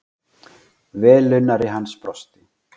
Velunnari hans brosti.